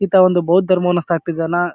ಈತ ಒಂದು ಬೌದ್ಧ ಧರ್ಮವನ್ನು ಸ್ಥಾಪಿಸಿದನ.